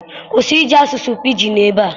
Kwụsị iji asụsụ Pidgin ebe a!